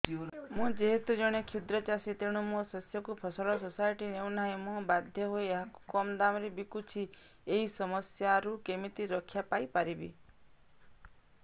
ମୁଁ ଯେହେତୁ ଜଣେ କ୍ଷୁଦ୍ର ଚାଷୀ ତେଣୁ ମୋ ଶସ୍ୟକୁ ଫସଲ ସୋସାଇଟି ନେଉ ନାହିଁ ମୁ ବାଧ୍ୟ ହୋଇ ଏହାକୁ କମ୍ ଦାମ୍ ରେ ବିକୁଛି ଏହି ସମସ୍ୟାରୁ କେମିତି ରକ୍ଷାପାଇ ପାରିବି